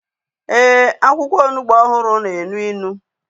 Ee, akwụkwọ onugbu ọhụrụ na-elu ilu